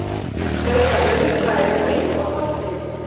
Hann skaut af löngu færi og inn fór boltinn.